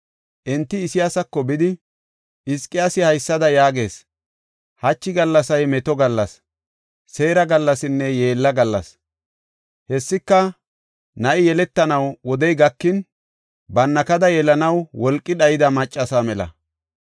Enti Isayaasako bidi, “Hizqiyaasi haysada yaagees; ‘Hachi gallasay meto gallas, seera gallasinne yeella gallas. Hessika na7i yeletanaw wodey gakin, bannakada yelanaw wolqi dhayda maccasa mela.